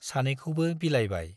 सानैखौबो बिलाइबाय।